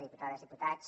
diputades i diputats